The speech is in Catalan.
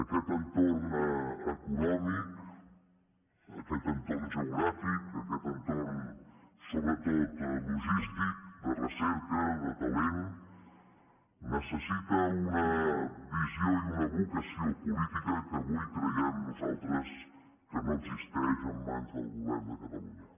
aquest entorn econòmic aquest entorn geogràfic aquest entorn sobretot logístic de recerca de talent necessita una visió i una vocació política que avui creiem nosaltres que no existeix en mans del govern de catalunya